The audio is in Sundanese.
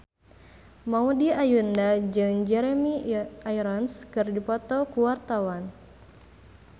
Maudy Ayunda jeung Jeremy Irons keur dipoto ku wartawan